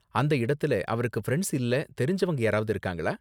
அந்த இடத்துல அவருக்கு ஃபிரண்ட்ஸ் இல்ல தெரிஞ்சவங்க யாராவது இருக்காங்களா?